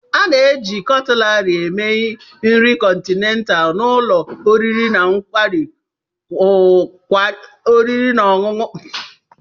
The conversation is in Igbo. A na-eji Cutlaris eme nri kọntinent na ụlọ oriri na ọṅụṅụ nkwari akụ.